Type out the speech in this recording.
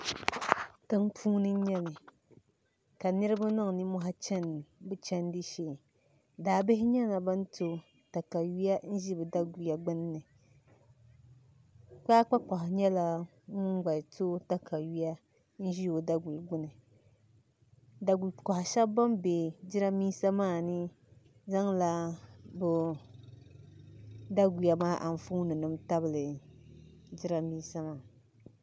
Tiŋpuuni n nyɛli ka niraba niŋ nimmohi n chɛni bi chimdi shee daabihi nyɛla ban to katawiya n ʒi bi daguya gbunni kaapu kohi nyɛla ŋun gba to o katawiya n ʒi o daguli gbuni daguli kohi shaba bin bɛ jiranbiisa maa ni zaŋla bi daguya maa anfooni tabili jiranbiisa maa